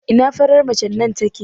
Ina farar macen nan take?